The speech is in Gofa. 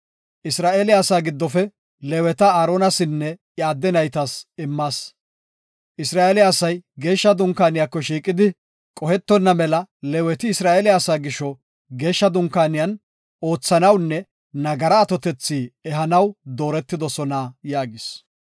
Isra7eele asaa giddofe Leeweta Aaronasinne iya adde naytas immas. Isra7eele asay Geeshsha Dunkaaniyako shiiqidi qohetonna mela Leeweti Isra7eele asaa gisho Geeshsha Dunkaaniyan oothanawunne nagara atotethi ehanaw dooretidosona” yaagis.